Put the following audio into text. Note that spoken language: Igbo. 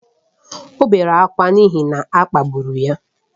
O bere ákwá n’ihi na a kpagburu ya